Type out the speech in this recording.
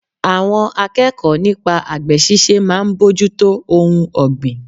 Àwọn akẹ́kọ̀ọ́ nípa àgbè ṣíṣe máa ń bójútó ohun ọgbín.